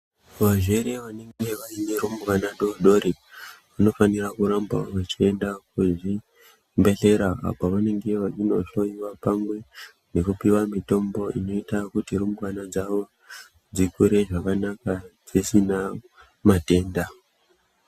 Vazvere vanenge vaine rumbwana dodori vanofanira kuramba vechienda kuzvibhedhlera uko kwavanonge veindohloyiwa nekupiwa mitombo zvinoite kuti rumbwana dzavo dzikure zvakanaka dzisina matenda.